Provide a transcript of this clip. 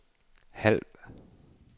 halv